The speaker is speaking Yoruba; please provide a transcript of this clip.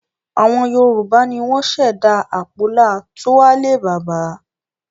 Àwọn Yorùbá ni wọ́n ṣẹ̀dá àpólà 'túwálè bàbá'